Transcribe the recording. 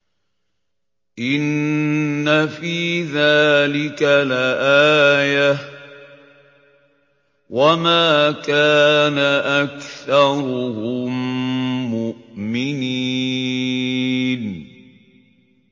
إِنَّ فِي ذَٰلِكَ لَآيَةً ۖ وَمَا كَانَ أَكْثَرُهُم مُّؤْمِنِينَ